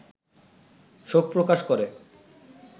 শোক প্রকাশ করে